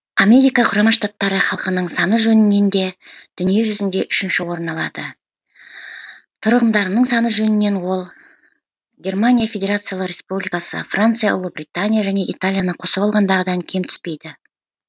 америка құрама штатының халқының саны жөнінен де дүние жүзінде үшінші орын алады тұрғындарының саны жөнінен ол германия федерациясы республикасы франция ұлыбритания және италияны қосып алғандағыдан кем түспейді